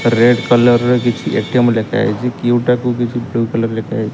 Red colour ର କିଛି ATM ଲେଖାହେଇଛି କ୍ୟୁ ଟା କୁ ବ୍ଲୁ କଲର୍ ରେ ଲେଖାହେଇଛି।